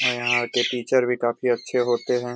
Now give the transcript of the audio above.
और यहां के टीचर भी काफ़ी अच्छे होते हैं।